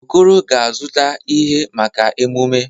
Okoro ga-azụta ihe, maka emume.